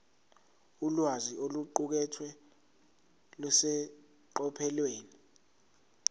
ulwazi oluqukethwe luseqophelweni